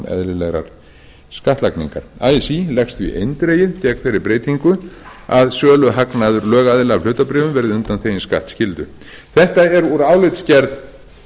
eðlilegrar skattlagningar así leggst því eindregið gegn þeirri breytingu að söluhagnaður lögaðila af hlutabréfum verði undanþeginn skattskyldu þetta er úr álitsgerð